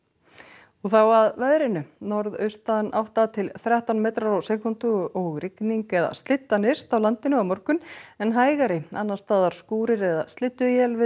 og þá að veðri norðaustan átta til þrettán metrar á sekúndu og rigning eða slydda nyrst á landinu á morgun en hægari annars staðar skúrir eða slydduél við